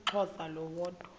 umxhosa lo woda